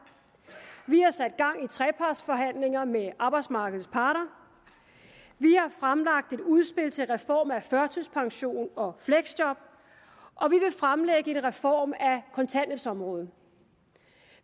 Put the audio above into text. vi har sat gang i trepartsforhandlinger med arbejdsmarkedets parter vi har fremlagt et udspil til reform af førtidspension og fleksjob og vi vil fremlægge en reform af kontanthjælpsområdet